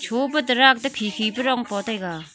Cho pa tarak to khi khi pa dong poh taiga .